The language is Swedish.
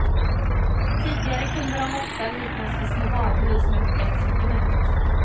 Tidigare kunde de ofta liknas vid små varuhus med ett brett sortiment.